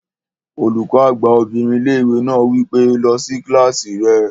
Olùkọ́ àgbà obìnrin ilé-ìwé náà wí pé, "lọ sí kílásì rẹ!"